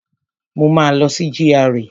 Mo máa lọ sí GRA